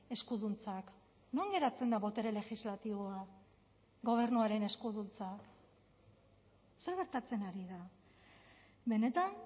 eskuduntzak non geratzen da botere legislatiboa gobernuaren eskuduntza zer gertatzen ari da benetan